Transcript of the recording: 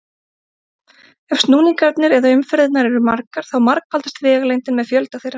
Ef snúningarnir eða umferðirnar eru margar þá margfaldast vegalengdin með fjölda þeirra.